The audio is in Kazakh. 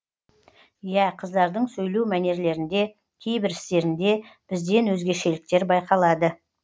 иә қыздардың сөйлеу мәнерлерінде кейбір істерінде бізден өзгешеліктер байқалады